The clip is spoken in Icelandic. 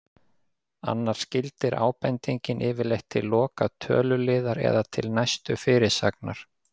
Annars gildir ábendingin yfirleitt til loka töluliðar eða til næstu fyrirsagnar.